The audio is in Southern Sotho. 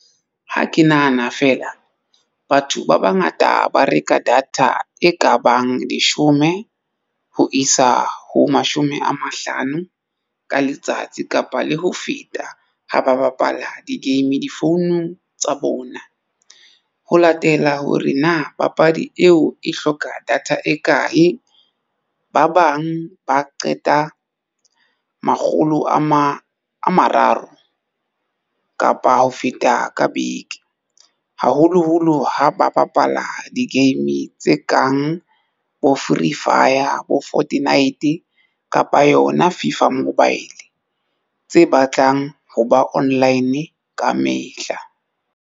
Ha ke nahana fela batho ba bangata ba reka data e kabang leshome ho isa ho mashome a mahlano ka letsatsi kapa le ho feta ha ba bapala di-game difounung tsa bona ho latela hore na papadi eo e hloka data e kae. Ba bang ba qeta makgolo a mararo kapa ho feta ka beke, haholoholo ha ba bapala di-game tse kang bo Free firefyer bo Fortnite kapa yona Fifa Mobile tse batlang ho ba online kamehla.